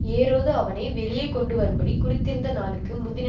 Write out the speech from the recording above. ஏரோது அவனை வெளியே கொண்டு வரும்படி குறித்திருந்த நாளுக்கு முந்தின